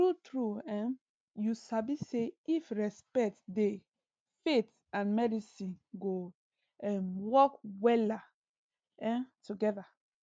true true um you sabi say if respect dey faith and medicine go um work wella um together